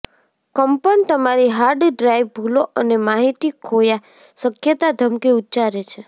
કંપન તમારી hard drive ભૂલો અને માહિતી ખોયા શક્યતા ધમકી ઉચ્ચારે છે